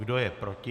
Kdo je proti?